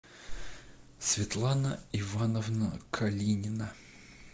светлана ивановна калинина